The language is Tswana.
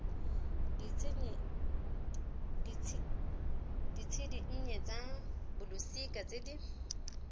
ditshedinnye tsa bolosika tse di